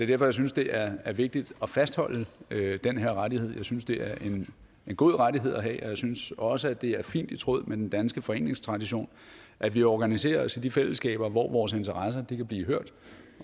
derfor jeg synes det er er vigtigt at fastholde den her rettighed jeg synes det er en god rettighed at hæve og jeg synes også det er fint i tråd med den danske foreningstradition at vi organiserer os i de fællesskaber hvor vores interesser kan blive hørt